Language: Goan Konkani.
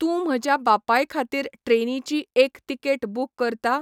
तूं म्हज्या बापायखातीर ट्रेनीची एक तिकेट बूक करता?